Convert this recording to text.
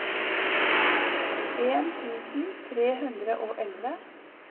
åttien tusen tre hundre og elleve